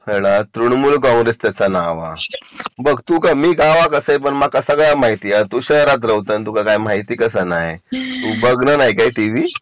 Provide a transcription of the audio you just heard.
प्रणामूल काँग्रेस त्याचा नाव हा बघ तू काय मी गावात असे तरी माका सगळा माहिती आणि तू शहरात राहतात तुका काही माहिती कसा नाही तू बघत नाही काय टीव्ही